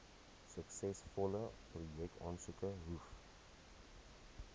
suksesvolle projekaansoeke hoef